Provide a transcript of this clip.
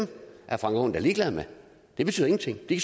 er frank aaen da ligeglad med det betyder ingenting de